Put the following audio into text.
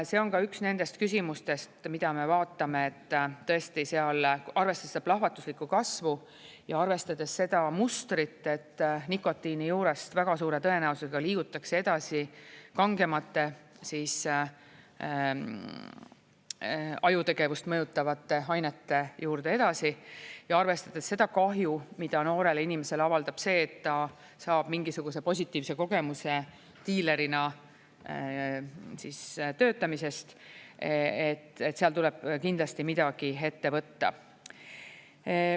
See on ka üks nendest küsimustest, mida me vaatame, et tõesti seal arvestades plahvatuslikku kasvu ja arvestades seda mustrit, et nikotiini juurest väga suure tõenäosusega liigutakse edasi kangemate, ajutegevust mõjutavate ainete juurde, ja arvestades seda kahju, mida noorele inimesele avaldab see, et ta saab mingisuguse positiivse kogemuse diilerina töötamisest, tuleb seal kindlasti midagi ette võtta.